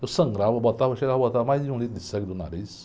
Eu sangrava, botava, cheirava, botava mais de um litro de sangue do nariz.